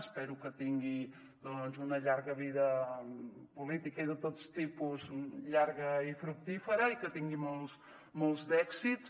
espero que tingui doncs una llarga vida política i de tot tipus llarga i fructífera i que tingui molts molts d’èxits